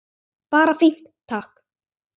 Bara fínt, takk!